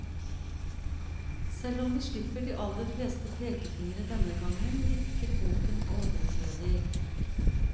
Selv om vi slipper de aller fleste pekefingre denne gangen, virker boken overflødig.